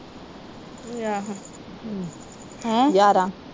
ਹੈਂ।